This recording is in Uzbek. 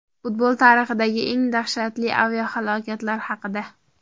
Futbol tarixidagi eng dahshatli aviahalokatlar haqida.